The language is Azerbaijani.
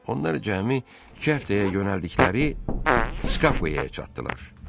Onlar cəmi iki həftəyə yönəldikləri Skakuya çatdılar.